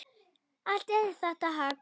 Allt er þetta hagl.